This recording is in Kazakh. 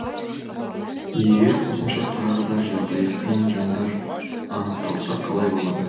егер қосымша тағы да жағдайы қиын жандар анықталса қалай болады